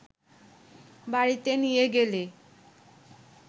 বাড়িতে নিয়ে গেলে